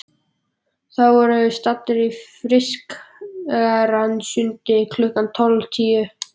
Þá voru þeir staddir í Fischersundi klukkan tólf tíu.